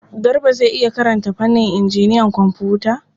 Garba zai iya karanta fannin injiniyan kwamfuta.